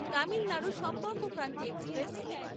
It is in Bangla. তামিলনাড়ু সম্পর্ক ক্রান্তি এক্সপ্রেস